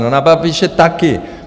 No na Babiše taky.